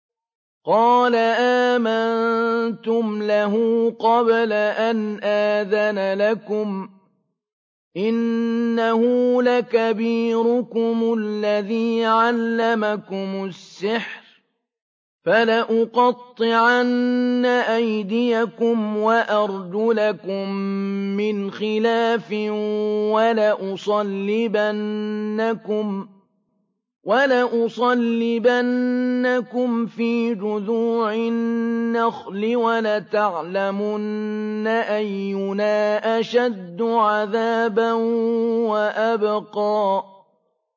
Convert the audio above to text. قَالَ آمَنتُمْ لَهُ قَبْلَ أَنْ آذَنَ لَكُمْ ۖ إِنَّهُ لَكَبِيرُكُمُ الَّذِي عَلَّمَكُمُ السِّحْرَ ۖ فَلَأُقَطِّعَنَّ أَيْدِيَكُمْ وَأَرْجُلَكُم مِّنْ خِلَافٍ وَلَأُصَلِّبَنَّكُمْ فِي جُذُوعِ النَّخْلِ وَلَتَعْلَمُنَّ أَيُّنَا أَشَدُّ عَذَابًا وَأَبْقَىٰ